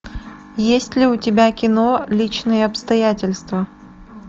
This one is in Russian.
есть ли у тебя кино личные обстоятельства